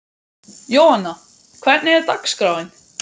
Jóanna, hvernig er dagskráin?